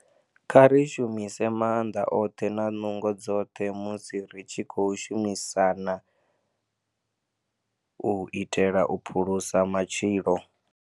Kha ri shumise maanḓa oṱhe na nungo dzoṱhe musi ri tshi khou shumisana u itela u phulusa matshilo.